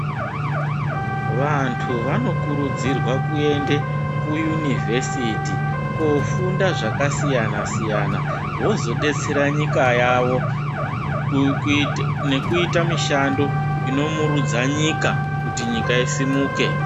Vantu vanokurudzirwa kuende kuyuniversity kofunda zvakasiyana siyana, wozodetsera nyika yavo nekuita mishando inomurudza nyika kuti nyika isumuke.